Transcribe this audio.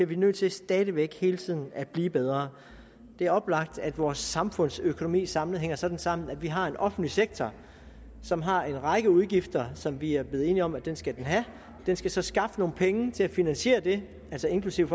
vi nødt til stadig væk hele tiden at blive bedre det er oplagt at vores samfundsøkonomi samlet set hænger sådan sammen at vi har en offentlig sektor som har en række udgifter som vi er blevet enige om den skal have den skal så skaffe nogle penge til at finansiere det altså inklusive